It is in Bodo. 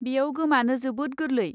बेयाव गोमानो जोबोद गोरलै।